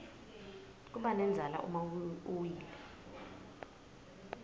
kubanendzala uma uwile